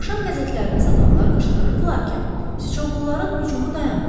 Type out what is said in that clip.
Axşam qəzetlərini satanlar qışqırırdılar ki, sıçovulların hücumu dayanıb.